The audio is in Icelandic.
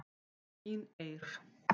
Þín Eir.